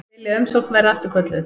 Vilja að umsókn verði afturkölluð